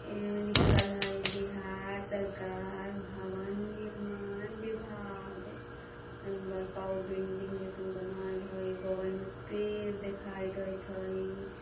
एमे लिखल हई बिहार सरकार भवन निर्माण विभाग एमे बड़का गो बिल्डिंग जइसन बनाइल हई बगल में पेड़ दिखाई देइत हई।